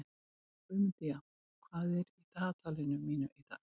Guðmundína, hvað er í dagatalinu mínu í dag?